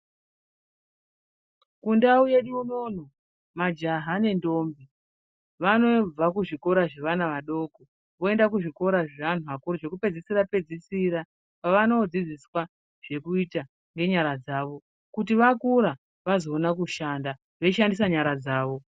Kundau yedu unono majaha nendombi vanobva kuzvikora zvaana vadoko voenda kuzvikora zveantu akuru zvekupedzisira pedzisira kwevanodzidziswa zvekuita nenyara dzawo kuti vakura vazoona kushanda veishandisa nyara dzawo.